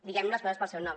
diguem les coses pel seu nom